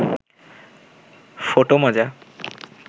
photo মজা